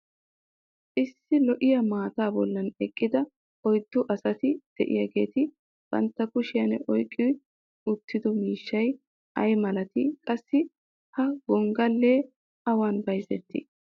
issi lo'iya maataa boli eqqida oyddu asati diyaageeti banta kushiyan oyqqi uttido miishshay ay malatii? qassi ha gongalee awan bayzettii?